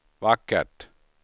vackert